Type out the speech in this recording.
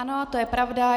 Ano, to je pravda.